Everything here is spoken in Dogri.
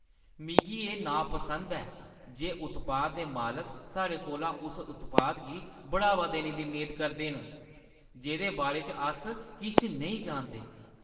मिगी एह् नापसंद ऐ जे उत्पाद दे मालक साढ़े कोला उस उत्पाद गी बढ़ावा देने दी मेद करदे न जेह्दे बारे च अस किश नेईं जानदे।